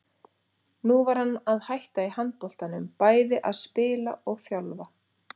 Nú var hann að hætta í handboltanum, bæði að spila og þjálfa.